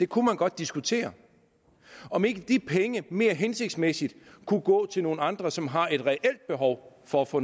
kunne godt diskutere om ikke de penge mere hensigtsmæssigt kunne gå til nogle andre som har et reelt behov for at få